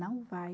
Não vai.